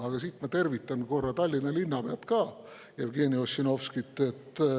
Aga ma tervitan korra ka Tallinna linnapead Jevgeni Ossinovskit.